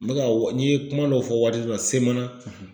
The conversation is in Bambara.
N bɛ ka n ye kuma dɔw fɔ waati dɔ la semana.